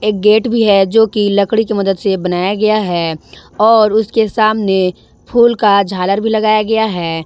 Gate भी है जो की लकड़ी की मदद से बनाया गया है और उसके सामने फूल का झालर भी लगाया गया है।